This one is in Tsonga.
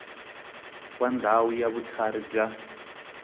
wa ndhawu ya vutlhari ya